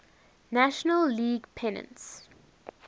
national league pennants